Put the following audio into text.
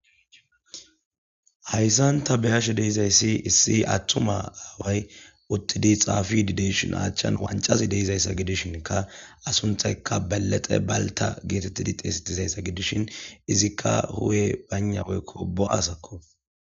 hayssanta beyashe deizayssi issi attuma aaway uttidi xaafidideyshin achchan wancazi deizayssa gidishinka asunthaykka balexe balta geetettidi xeesi tizayssa gidishin izikka huwe baynaweykko bo7asakko